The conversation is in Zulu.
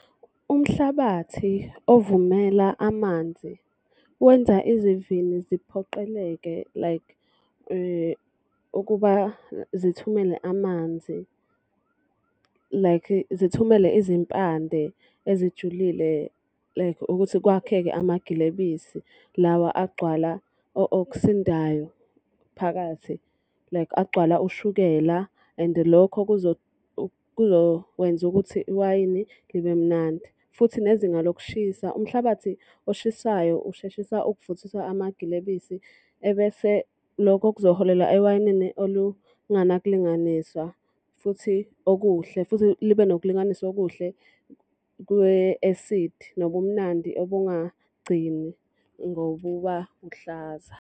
Umhlabathi ovumela amanzi, wenza izivini ziphoqeleke like ukuba zithumele amanzi, like zithumele izimpande ezijulile like ukuthi kwakheke amagilebisi lawa agcwala okusindayo phakathi like agcwala ushukela. And lokho kuzokwenza ukuthi iwayini libe mnandi. Futhi nezinga lokushisa, umhlabathi oshisayo usheshisa ukuvuthiswa amagilebisi ebese lokho kuzoholela ewayinini olunganakulinganiswa, futhi okuhle. Futhi libe nokulinganiswa okuhle kwe-esidi nobumnandi obungagcini ngokuba kuhlaza.